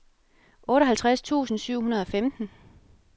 otteoghalvtreds tusind syv hundrede og femten